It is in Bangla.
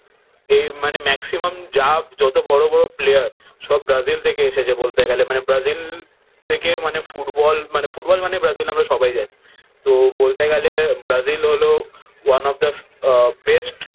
এই মানে ম্যাক্সিমাম যা যত বড় বড় প্লেয়ার সব ব্রাজিল থেকে এসেছে। বলতে গেলে মানে ব্রাজিল থেকে মানে ফুটবল মানে ফুটবল মানে ব্রাজিল আমরা সবাই জানি। তো বলতে গেলে ব্রাজিল হলো one of the best